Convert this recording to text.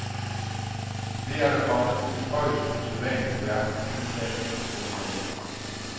Det er der kommet et højst usædvanligt værk ud af. punktum